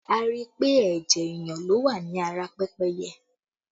A rí i pé ẹ̀jẹ̀ èèyàn ló wà ní ara pẹ́pẹ́yẹ